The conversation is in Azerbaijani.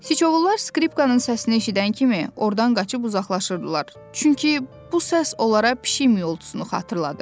Siçovullar skripkanın səsini eşidən kimi ordan qaçıb uzaqlaşırdılar, çünki bu səs onlara pişik miyoltusunu xatırladırdı.